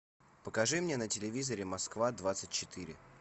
покажи мне на телевизоре москва двадцать четыре